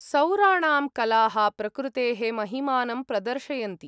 सौराणां कलाः प्रकृतेः महिमानं प्रदर्शयन्ति।